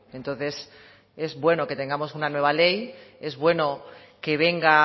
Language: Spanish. entonces es bueno que tengamos una nueva ley es bueno que venga